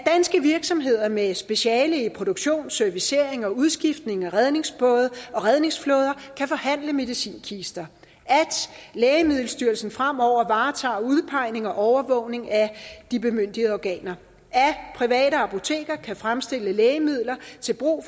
virksomheder med speciale i produktion servicering og udskiftning af redningsbåde og redningsflåder kan forhandle medicinkister at lægemiddelstyrelsen fremover varetager udpegning og overvågning af de bemyndigede organer at private apoteker kan fremstille lægemidler til brug